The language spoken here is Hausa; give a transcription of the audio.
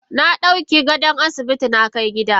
Nadauka gadon asibiti nakai gida.